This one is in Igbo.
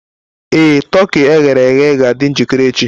Ee, toki e ghere eghe ga-adị njikere echi.